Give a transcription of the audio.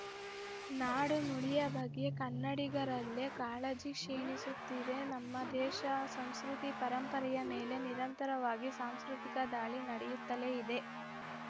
ನಾಡು ನುಡಿ ಬಗ್ಗೆ ಕನ್ನಡಿಗರಲ್ಲೇ ಕಾಳಜಿ ಕ್ಷೀಣಿಸುತಿದೆ ನಮ್ಮ ದೇಶ ಸಂಸ್ಕೃತಿ ಪರಂಪರೆಯ ಮೇಲೆ ನಿರಂತರವಾಗಿ ಸಾಂಸ್ಕೃತಿಕ ದಾಳಿ ನಡೆಯುತ್ತಲೇ ಇದೆ